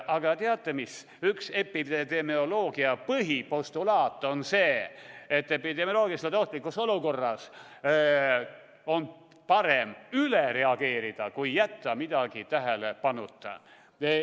Aga teate mis – üks epidemioloogia põhipostulaat on see, et epidemioloogiliselt ohtlikus olukorras on parem üle reageerida, kui jätta midagi tähelepanuta.